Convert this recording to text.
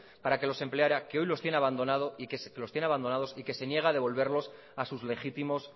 para que los empleara que hoy los tiene abandonados y que se niega devolverlos a sus legítimos